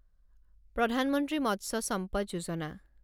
প্ৰধান মন্ত্ৰী মৎস্য সম্পদ যোজনা